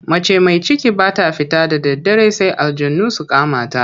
Mace mai ciki ba ta fita da daddare sai aljanu su kama ta.